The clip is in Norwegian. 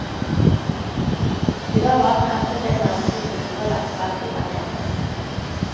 De var bare presset inn mellom to hudfolder på hver side av nesa.